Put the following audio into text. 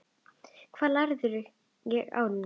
Hvað lærði ég á árinu?